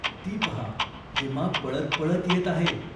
ती पहा हेमा पळत पळत येत आहे.